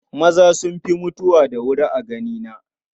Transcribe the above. Maza sun fi mutuwa da wuri a ganina.